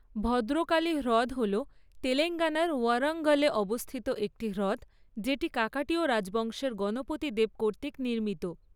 ভদ্রকালী হ্রদ হল তেলেঙ্গানার ওয়ারঙ্গলে অবস্থিত একটি হ্রদ যেটি কাকাটীয় রাজবংশের গণপতি দেব কর্তৃক নির্মিত।